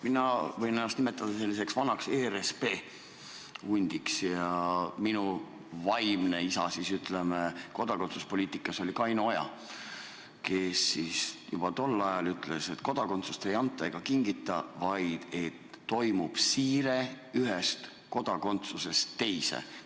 Mina võin ennast nimetada selliseks vanaks ERSP hundiks ja minu vaimne isa kodakondsuspoliitikas oli Kaino Oja, kes juba tol ajal ütles, et kodakondsust ei anta ega kingita, vaid toimub siire ühest kodakondsusest teise.